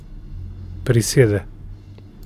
Prisede.